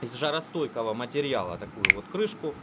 из жаростойкого материала такую вот крышку